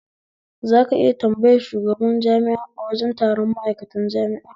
Zaka iya tambayar shigaban jami'a a wajen taron ma'aikatan jami'a?